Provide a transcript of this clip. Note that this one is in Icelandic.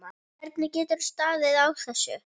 Hvernig getur staðið á þessu.